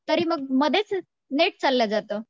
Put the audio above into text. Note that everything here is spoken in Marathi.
तरी मग मध्येच नेट चाललं जाते